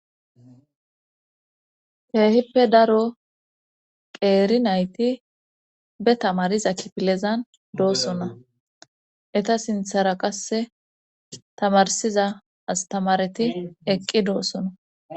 Heehippe daro qeeri nayti be tamariza kipilezan doosona eta sinthara qasse tamarsiza astamareti eqqi doossona